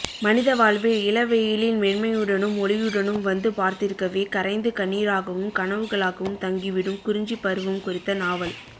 மனித வாழ்வில் இளவெயிலின் மென்மையுடனும் ஒளியுடனும் வந்து பார்த்திருக்கவே கரைந்து கண்ணீராகவும் கனவுகளாகவும் தங்கிவிடும் குறிஞ்சிப்பருவம் குறித்த நாவல்